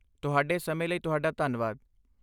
ਤੁਹਾਡੇ ਸਮੇਂ ਲਈ ਤੁਹਾਡਾ ਧੰਨਵਾਦ!